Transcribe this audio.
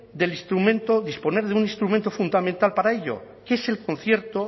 disponer de un instrumento fundamental para ello que es el concierto